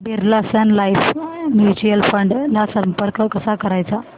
Birla Sun Life mutual fund ला संपर्क कसा करायचा